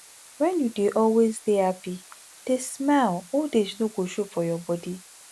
wen you dey always dey happy dey smile old age no go show for your body